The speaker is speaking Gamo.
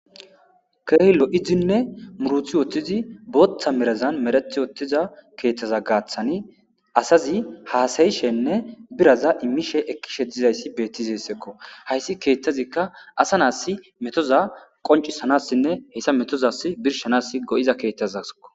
keehippe lo'izinne muruthi boottizi booththa merazan merathi wottiza keeththaza gaaththani asazi haasayishenne biraza immishe ekkishe dizayssi beettizessekko hayssi keeththazikka asa naass metoza qoncisanassinne heyssa metozas birshanas go7iza keeththazaeko